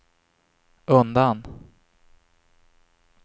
undan